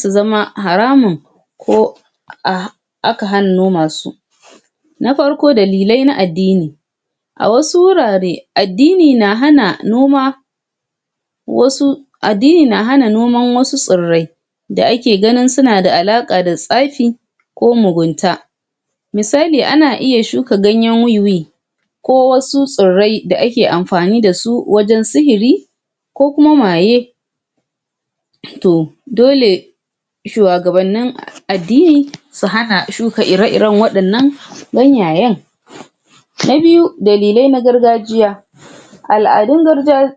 su zama haramun ko aka hannoma su na farko dalilai na addini a wasu wurare addni na han noma wasu addini na hana noman wasu tsirai da ake ganni suna da alaƙa da tsafi ko mugunta misali ana iya shoka ganyen weewee ko wasu tsrai da ake anfani dasu wajan sihiri ko kuma maye to dole shuwagabannin addini su hana shuka ire iren waɗannan ganyayen na biyu dalilai na gargajiya al'adun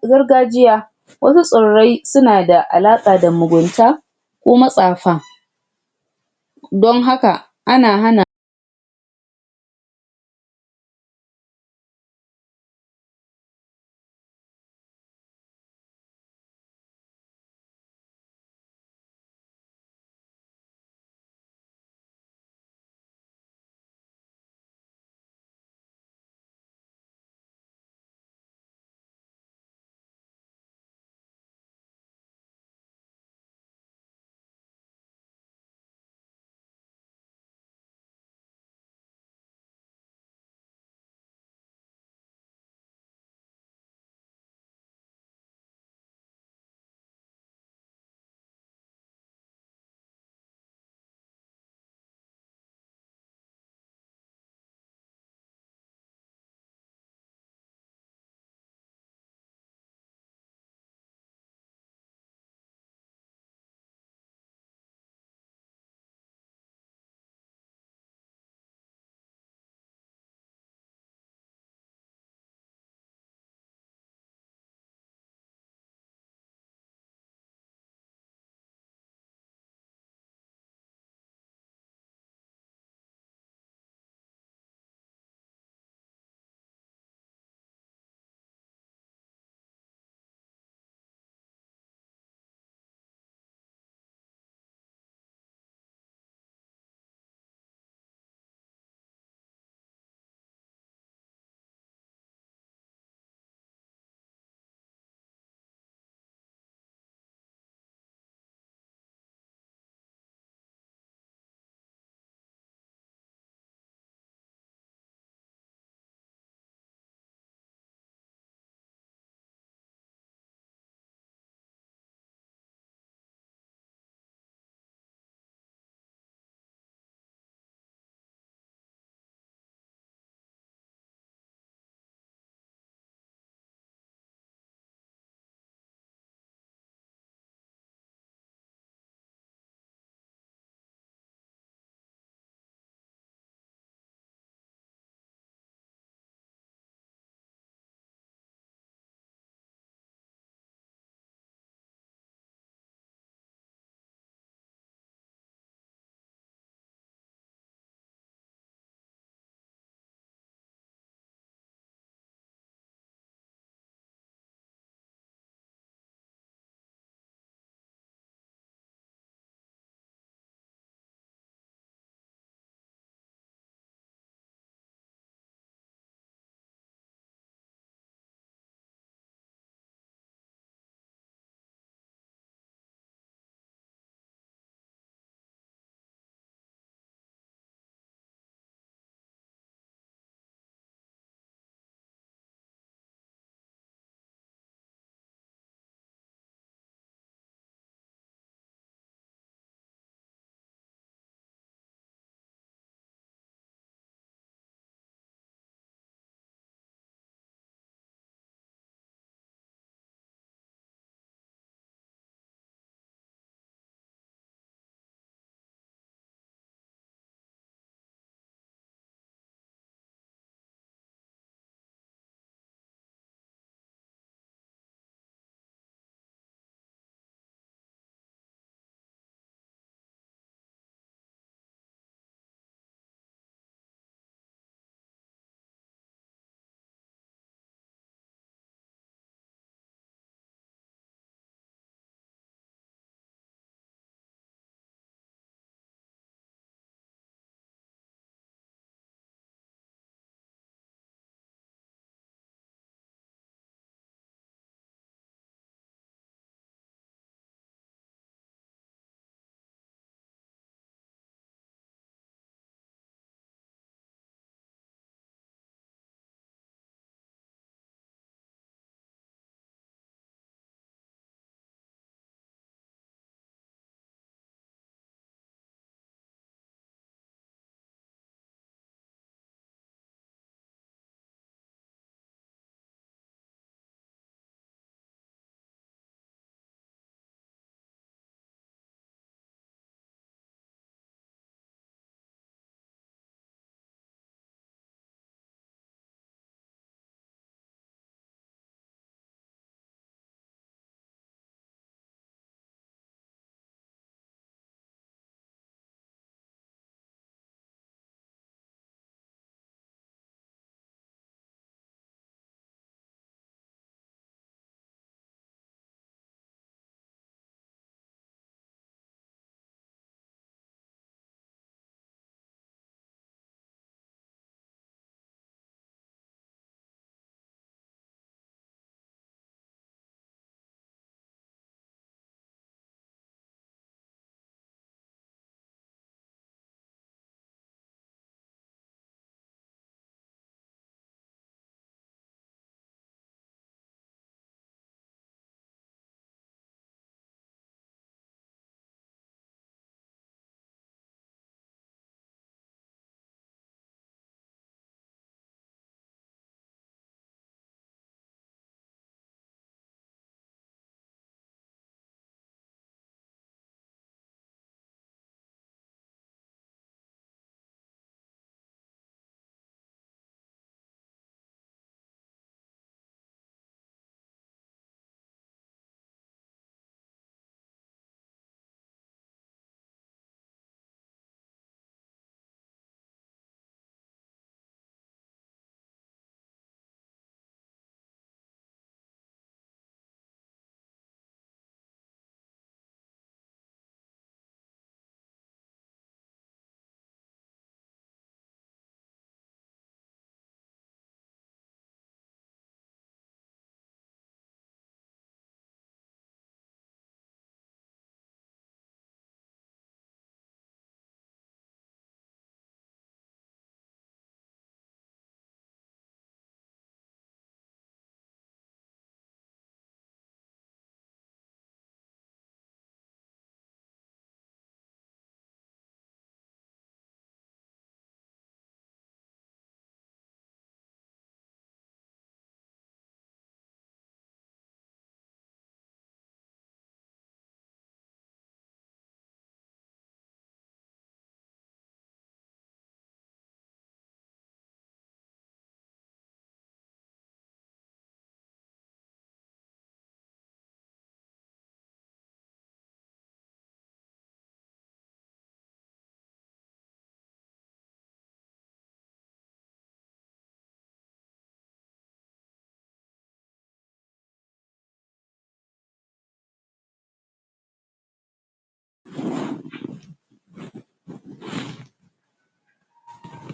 gargajiya wasu tsirai suna da alaƙa da mugunta ko matsafa don haka ana hana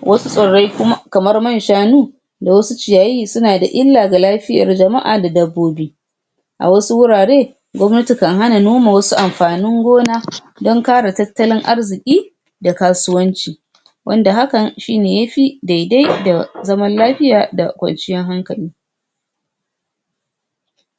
wasu tsirai kamar man shanu da wasu ciyayi suna da illa ga lafiyar jama'a da dabbobi a wasu wuraren gwamnati kan hana noma wasu anfanin gona dan kare tattalin arziki da kasuwanci wanda hakan shine yafi daidai da zaman lafiya da kwanciyar hankali